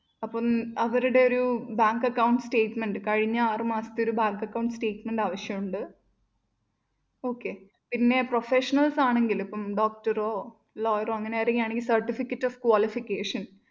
അപ്പം അവരുടെ ഒരു bank account statement കഴിഞ്ഞ ആറുമാസത്തെ ഒരു bank account statement ആവശ്യമുണ്ട് okay പിന്നെ professionals ആണെങ്കില്‍ ഇപ്പം doctor ഓ lawer ഓ അങ്ങനെ ആരെങ്കിലുമാണെങ്കില്‍ certificate of qualification